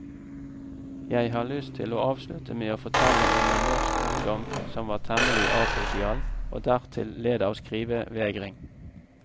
Jeg har lyst til å avslutte med å fortelle om en norsk ungdom som var temmelig asosial og dertil led av skrivevegring.